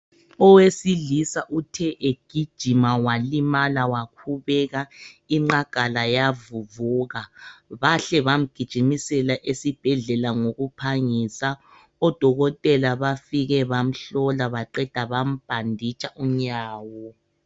Owesilisa uthe egijima walimala wakhubeka inqagala yavuvuka bahle bamgijimisela esiibhedlela ngokuphangisa odokotela bafike bamhlola baqeda bambhanditsha unyawo.